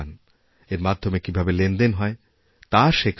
এর মাধ্যমে কীভাবে লেনদেন হয় তা শেখান